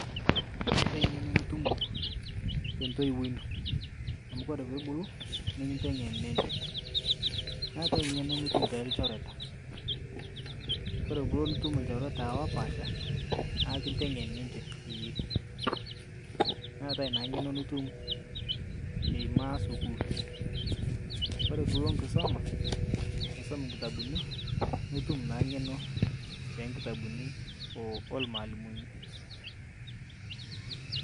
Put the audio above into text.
Keetai ngeno nitumo te ntoiwuo ino amu ore pee ibulu nikintengen ninche meetae ngeno nitum toolchoreta kore keloid nitu ilchoreta opaasha naa kintengen ninche eyie neetae naa ng'eno nitum imagine sukuul ore pee ilo nkisuma aisum nkitabuni nitu naa ng'eno too nkitabuni oolmalimuni